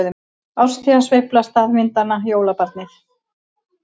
Árstíðasveifla staðvindanna- jólabarnið